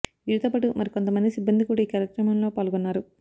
వీరితో పాటు మరికొంత మంది సిబ్బంది కూడా ఈ కార్యక్రమంలో పాల్గొన్నారు